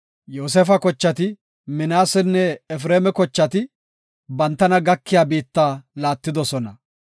Yoosefa kochati, Minaasenne Efreema kochati, bantana gakiya biitta laattidosona.